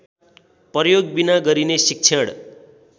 प्रयोगबिना गरिने शिक्षण